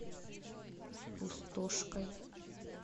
пустошкой